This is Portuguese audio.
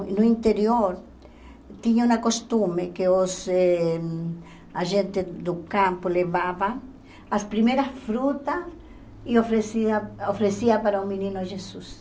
No interior tinha uma costume que os eh a gente do campo levava as primeiras frutas e oferecia oferecia para o menino Jesus.